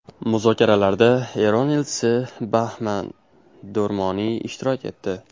Muzokaralarda Eron elchisi Bahman Do‘rmoniy ishtirok etdi.